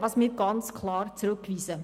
Das weisen wir ganz klar zurück.